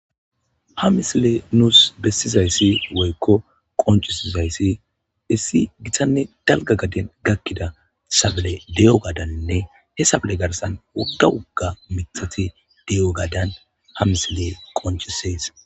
Ha misiley nuus bessizayssi woykko qonccisizayssi issi dalgga gaden daro miththati dizayssanna ha miththata giddoraka zeretidi dolishe diza doozati deetes.